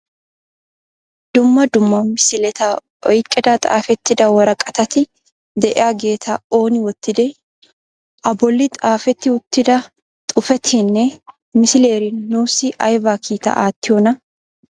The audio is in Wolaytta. Dumma dumma misileta oyqqida xaafetida woraqqatati de'iyaageta ooni wottide? A bolli xaafeti uttida xuufettinne misileri nuussi aybba kiita aattiyona ?